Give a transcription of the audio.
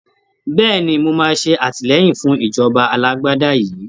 Bẹ́ẹ̀ni, mo máa ṣe àtìlẹyìn fún ìjọba alágbádá yìí